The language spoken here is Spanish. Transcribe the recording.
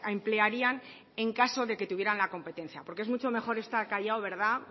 emplearían en caso de que tuvieran la competencia porque es mucho mejor estar callado verdad